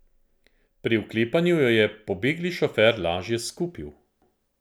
Pri vklepanju jo je pobegli šofer lažje skupil.